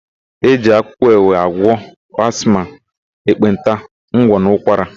E ji akwụkwọ ewe agwọ asma, ekpenta, ngwọ, na ụkwara.